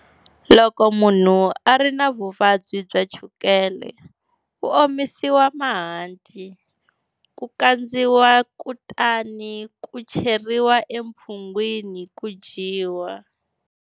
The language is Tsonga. Loko munhu a ri na vuvabyi bya chukele, ku omisiwa mahanti, ku kandziwa kutani ku cheriwa emphungwini ku dyiwa.